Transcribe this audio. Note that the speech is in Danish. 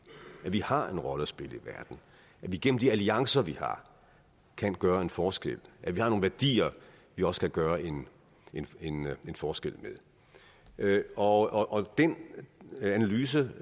at vi har en rolle at spille i verden at vi gennem de alliancer vi har kan gøre en forskel at vi har nogle værdier vi også kan gøre en en forskel med og den analyse